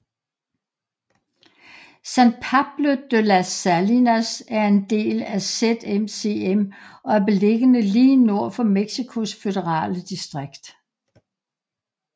San Pablo de las Salinas er en del af ZMCM og er beliggende lige nord for Mexicos Føderale Distrikt